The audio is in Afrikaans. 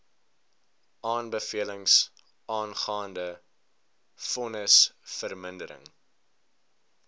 aanbevelings aangaande vonnisvermindering